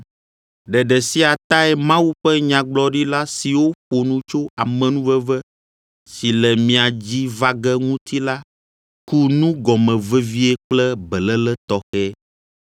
Ɖeɖe sia tae Mawu ƒe nyagblɔɖila siwo ƒo nu tso amenuveve si le mia dzi va ge ŋuti la ku nu gɔme vevie kple beléle tɔxɛ,